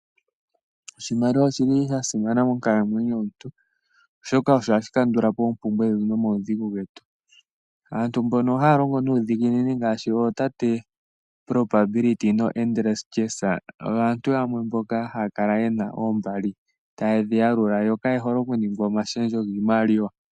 Oshimaliwa oshasimana monkalamwenyo yomuntu oshoka oha shi kandula po oompumbwe nomaudhigu getu. Aantu mbono hayo longo nuudhiginini ngaashi ootate yoo Probability noo Endurance oyo aantu yamwe mboka ha ya kala yena oombali yo ka yehole okuningwa omashendjo giimaliwa.